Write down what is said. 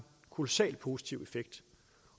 kolossalt positiv effekt